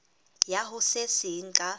ya ho se seng ka